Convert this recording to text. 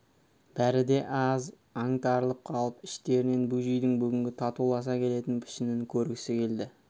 бәрі де аз аңтарылып қалып іштерінен бөжейдің бүгінгі татуласа келетін пішінін көргісі келді